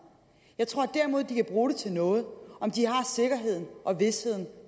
jeg tror derimod at de kan bruge det til noget om de har sikkerheden og visheden